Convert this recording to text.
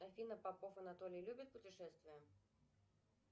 афина попов анатолий любит путешествия